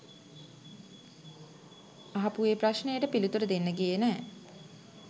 අහපු ඒ ප්‍රශ්නයට පිළිතුරු දෙන්න ගියේ නැහැ.